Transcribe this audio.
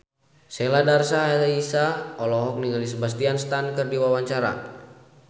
Sheila Dara Aisha olohok ningali Sebastian Stan keur diwawancara